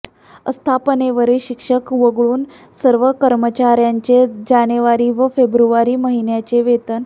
आस्थापनेवरील शिक्षक वगळून सर्व कर्मचाऱयांचे जानेवारी व फेब्रुवारी महिन्याचे वेतन